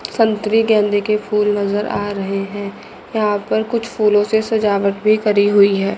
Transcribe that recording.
संतरी गेंदे की फुल नजर आ रहे हैं। यहां पर कुछ फूलों से सजावट भी करी हुई है।